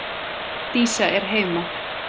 Dísa er heima!